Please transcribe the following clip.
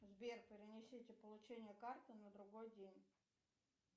сбер перенесите получение карты на другой день